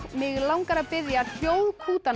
mig langar að biðja